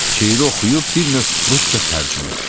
Şeiri oxuyub bir növ rusca tərcümə etdi.